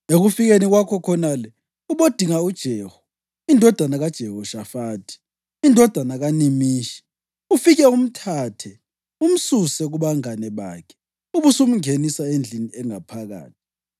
Ekufikeni kwakho khonale, ubodinga uJehu indodana kaJehoshafathi, indodana kaNimishi. Ufike umthathe, umsuse kubangane bakhe ubusumngenisa endlini engaphakathi.